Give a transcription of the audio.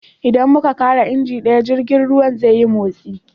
Idan muka kara injin daya, jirgin ruwa zai nutse